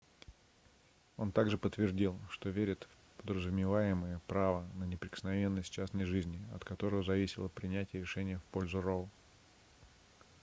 он также подтвердил что верит в подразумеваемое право на неприкосновенность частной жизни от которого зависело принятие решения в пользу роу